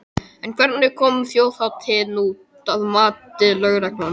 En hvernig kom þjóðhátíðin út, að mati lögreglunnar?